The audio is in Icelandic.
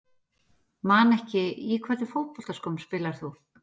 Man ekki Í hvernig fótboltaskóm spilar þú?